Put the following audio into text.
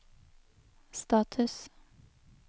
status